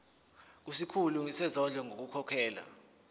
kusikhulu sezondlo ngokukhokhela